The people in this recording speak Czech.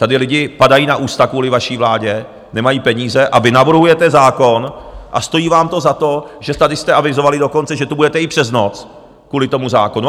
Tady lidé padají na ústa kvůli vaší vládě, nemají peníze, a vy navrhujete zákon a stojí vám to za to, že tady jste avizovali dokonce, že tu budete i přes noc kvůli tomu zákonu.